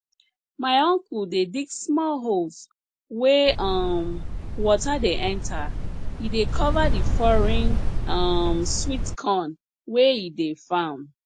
my uncle dey dig small holes wey um water dey enter he dey cover the foreign um sweet corn wey he dey farm